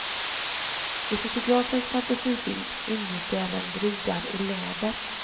I fotografens fantasibild ingick även brudar i läder.